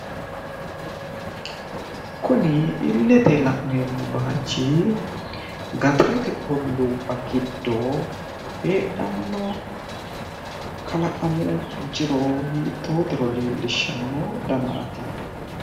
Kuni illete la'neemmo baachi gaxarete olluubba giddo heedhanno kalaqamu jiro hiittotero leellishshanno danaati.